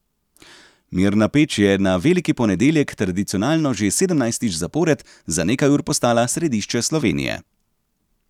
Mirna Peč je na veliki ponedeljek tradicionalno že sedemnajstič zapored za nekaj ur postala središče Slovenije.